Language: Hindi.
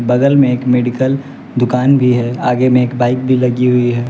बगल में एक मेडिकल दुकान भी है आगे में एक बाइक भी लगी हुई है।